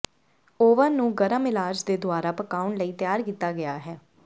oven ਨੂੰ ਗਰਮ ਇਲਾਜ ਦੇ ਦੁਆਰਾ ਪਕਾਉਣ ਲਈ ਤਿਆਰ ਕੀਤਾ ਗਿਆ ਹੈ